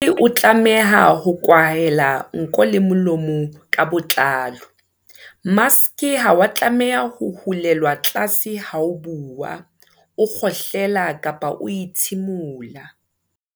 Maske e tlameha ho kwahela nko le molomo ka botlalo. Maske ha wa tlameha ho hulelwa tlase ha o bua, o kgohlela kapa o ithimula.